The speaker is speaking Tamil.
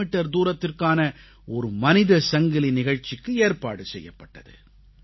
மீட்டர் தூரத்திற்கான ஒரு மனித சங்கிலி நிகழ்ச்சிக்கு ஏற்பாடு செய்யப்பட்டது